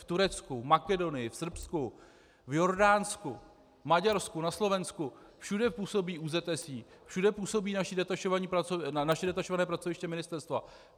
V Turecku, v Makedonii, v Srbsku, v Jordánsku, Maďarsku, na Slovensku, všude působí ÚZSI, všude působí naše detašované pracoviště ministerstva.